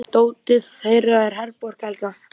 Dóttir þeirra er Herborg Helga.